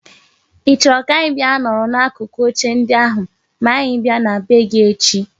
I choro ka anyi bia nọrọ n'akụkụ oche ndị ahụ ma anyi bia na be gi echi?